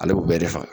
Ale bɛ bɛɛ de faga